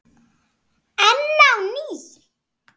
Enn á ný